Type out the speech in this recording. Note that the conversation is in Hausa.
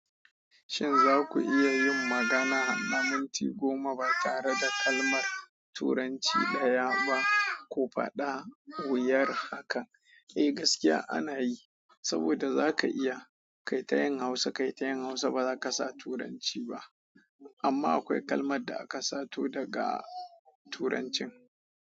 Shin za ku iya yin magana na minti goma ba tare da kalmar Turanci ɗaya ba? Ku faɗa wuyar haka. Eh gaskiya ana yi, saboda za ka iya kaita yin Hausa, kaita yin Hausa ba za ka sa Turanci ba. Amma akwai kalmar da aka sato daga Turancin.